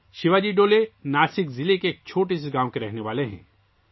شیواجی ڈولے کا تعلق ناسک ضلع کے ایک چھوٹے سے گاؤں سے ہے